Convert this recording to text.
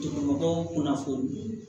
mɔgɔw kunnafoni